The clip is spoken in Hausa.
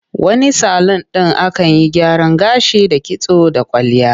Wani salun ɗin akan yi gyaran gashi da kitso da kwalliya.